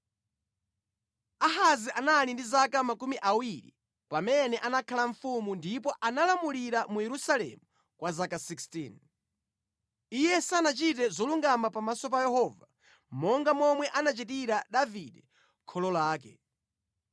Ahazi anali ndi zaka makumi awiri pamene anakhala mfumu ndipo analamulira mu Yerusalemu kwa zaka 16. Iye sanachite zolungama pamaso pa Yehova, monga momwe anachitira Davide kholo lake.